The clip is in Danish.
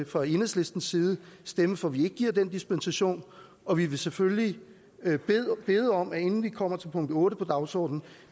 fra enhedslistens side stemme for at vi ikke giver den dispensation og vi vil selvfølgelig bede om inden vi kommer til punkt otte på dagsordenen